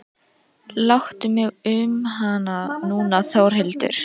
Láttu mig um hana núna Þórhildur.